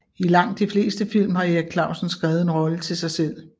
I langt de fleste film har Erik Clausen skrevet en rolle til sig selv